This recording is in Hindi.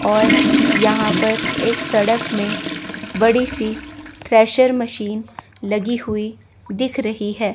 और यहां पर एक सड़क में बड़ी सी थ्रेसर मशीन लगी हुई दिख रही है।